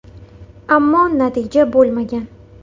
Ammo, natija bo‘lmagan.